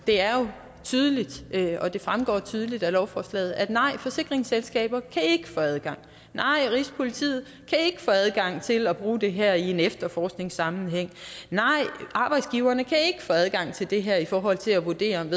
er jo tydeligt og det fremgår tydeligt af lovforslaget at nej forsikringsselskaber kan ikke få adgang nej rigspolitiet kan ikke få adgang til at bruge det her i en efterforskningsmæssig sammenhæng nej arbejdsgiverne kan ikke få adgang til det her i forhold til at vurdere om